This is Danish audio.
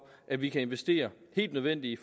at vi kan investere helt nødvendigt i